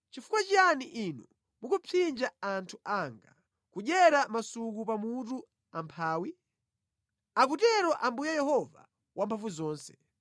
Nʼchifukwa chiyani inu mukupsinja anthu anga, nʼkudyera masuku pamutu amphawi?” Akutero Ambuye Yehova Wamphamvuzonse.